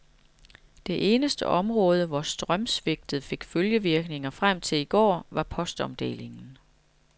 Det eneste område, hvor strømsvigtet fik følgevirkninger frem til i går, var postomdelingen.